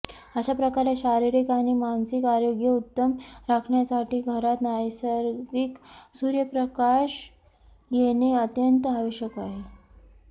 अशा प्रकारे शारीरिक आणि मानसिक आरोग्य उत्तम राखण्यासाठी घरात नैसर्गिक सूर्यप्रकाश येणे अत्यंत आवश्यक आहे